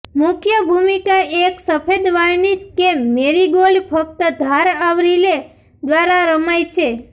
મુખ્ય ભૂમિકા એક સફેદ વાર્નિશ કે મેરીગોલ્ડ મફત ધાર આવરી લે દ્વારા રમાય છે